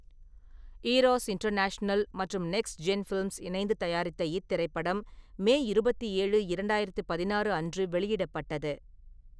Eros International மற்றும் Next Gen Films இணைந்து தயாரித்த இத்திரைப்படம் மே இருபத்தி ஏழு, இரண்டாயிரத்து பதினாறு அன்று வெளியிடப்பட்டது.